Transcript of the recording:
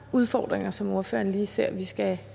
udfordringer som ordføreren lige ser vi skal